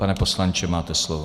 Pane poslanče, máte slovo.